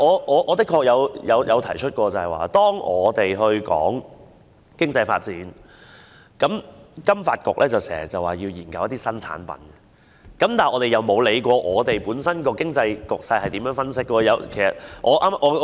我確曾指出，每當我們談到經濟發展，金發局便說要研究新產品，我們卻沒有分析香港本身經濟局勢是如何。